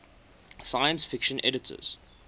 science fiction editors